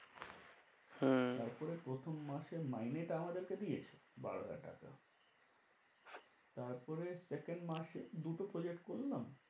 হ্যাঁ, তারপরে প্রথম মাসে মাইনেটা আমাদেরকে দিয়েছে। বারো হাজার টাকা তারপরে second মাসে দুটো project করলাম